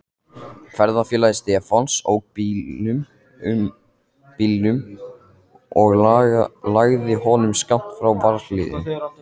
Ferðafélagi Stefáns ók bílnum og lagði honum skammt frá varðhliðinu.